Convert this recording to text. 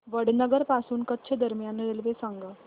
वडनगर पासून कच्छ दरम्यान रेल्वे सांगा